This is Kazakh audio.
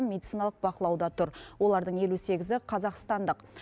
медициналық бақылауда тұр олардың елу сегізі қазақстандық